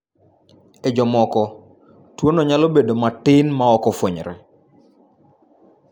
E jomoko, tuwono nyalo bedo matin ma ok fwenyre.